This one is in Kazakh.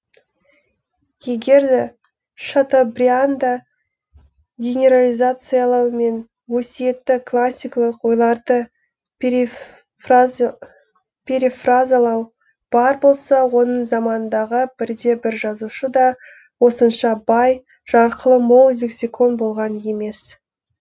егер де шатобрианда генерализациялау мен өсиетті классикалық ойларды перифразалау бар болса оның заманындағы бірде бір жазушы да осынша бай жарқылы мол лексикон болған емес